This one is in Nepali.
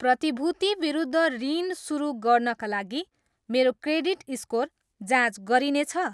प्रतिभूति विरुद्ध ऋण सुरु गर्नाका लागि मेरो क्रेडिट स्कोर जाँच गरिनेछ?